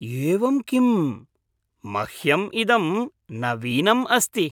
एवं किम्, मह्यम् इदं नवीनम् अस्ति।